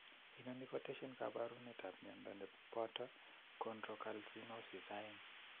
Inoni kotesyin koporunetap mionda ne poto chondrocalcinosis 2.